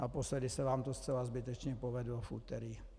Naposledy se vám to zcela zbytečně povedlo v úterý.